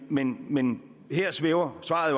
men men her svæver svaret